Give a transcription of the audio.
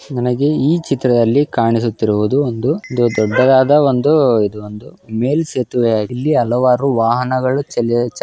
ನನಗೆ ಈ ಚಿತ್ರದಲ್ಲಿ ಕಾಣಿಸುತ್ತಿರುವುದು ಒಂದು ದೊಡ್ಡದಾದ ಒಂದು ಇದು ಒಂದು ಮೇಲ್ ಸೇತುವೆ ಆಗ್ ಇಲ್ಲಿ ಹಲವಾರು ವಾಹನಗಳು ಚಲಿ ಚಾ --